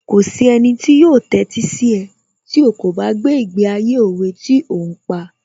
Kò sí ẹnì tí yóò tẹ́sí sí ẹ tí ó kò bá gbé ìgbé ayé òwe tí ò ń pa